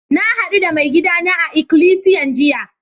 Na haddu da maigida na a'ikilisiyan jiya.